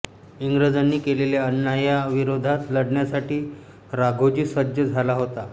इंग्रजांनी केलेल्या अन्यायाविरोधात लढण्यासाठी राघोजी सज्ज झाला होता